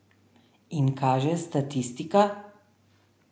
In kaže statistika?